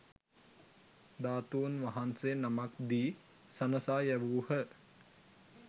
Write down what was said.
ධාතූන් වහන්සේ නමක් දී සනසා යැවූහ.